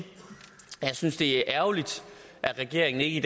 jeg synes det er ærgerligt at regeringen ikke